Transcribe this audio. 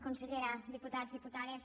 consellera diputats diputades